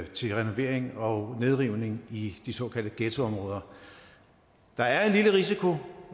til renovering og nedrivning i de såkaldte ghettoområder der er en lille risiko